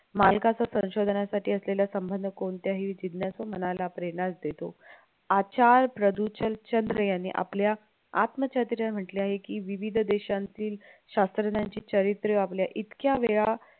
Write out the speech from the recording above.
मालकाचं संशोधनासाठी असलेला संबंध कोणत्याही मनाला प्रेरणाच देतो आचार प्रादुचल चंद्र याने आपल्या आत्मचरित्र म्हण्टल्याने की विविध देशांचे शास्त्रज्ञांची चरित्रे आपल्या इतक्या वेळा